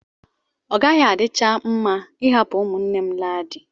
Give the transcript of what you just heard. Ọ gaghị adịcha mma ịhapụ ụmụnne m laa di.